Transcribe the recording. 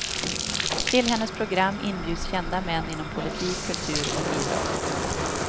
Till hennes program inbjuds kända män inom politik, kultur och idrott.